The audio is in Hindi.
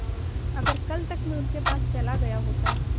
अगर कल तक में उनके पास चला गया होता